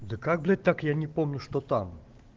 да как блять так я не помню что там